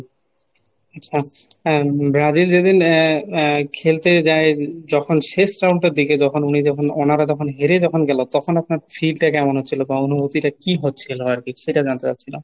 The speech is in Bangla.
আচ্ছা উম ব্রাজিল যেদিন আহ আহ খেলতে যায় যখন শেষ round এর দিকে যখন উনি যখন ওনারা যখন হেরে যখন গেল তখন আপনার feel টা কেমন হচ্ছিলো বা অনুভূতিটা কি হচ্ছিলো আর কি সেটা জানতে চাচ্ছিলাম।